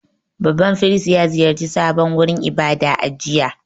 Babban firist ya ziyarci sabon wurin ibada a jiya.